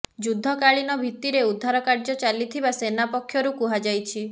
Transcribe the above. ଯୁଦ୍ଧକାଳୀନ ଭିତ୍ତିରେ ଉଦ୍ଧାର କାର୍ଯ୍ୟ ଚାଲିଥିବା ସେନା ପକ୍ଷରୁ କୁହାଯାଇଛି